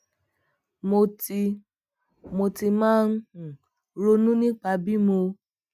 mo ti mo ti máa ń um ronú nípa bí mo